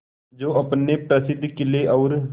जो अपने प्रसिद्ध किले और